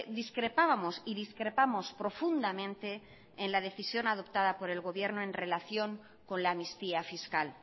discrepábamos y discrepamos profundamente en la decisión adoptada por el gobierno en relación con la amnistía fiscal